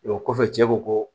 O kɔfɛ cɛ ko